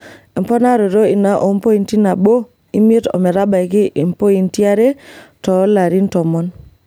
Emponaroto ina oompoti nabo imiet ometabaiki impot yare toolarin tomon.